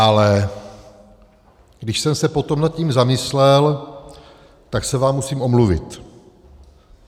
Ale když jsem se potom nad tím zamyslel, tak se vám musím omluvit.